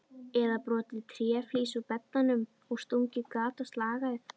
Eða brotið tréflís úr beddanum og stungið gat á slagæð?